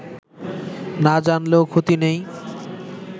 না জানলেও ক্ষতি নেই